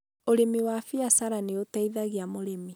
ũrĩmi wa biacara nĩũteithagia mũrĩmi